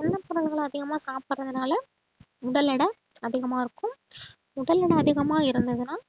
எண்ணெய் பொருள்களை அதிகமா சாப்பிடுறதுனால உடல் எடை அதிகமா இருக்கும் உடல் எடை அதிகமா இருந்ததுன்னா